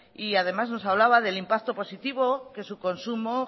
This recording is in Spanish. y además nos hablaba del impacto positivo que su consumo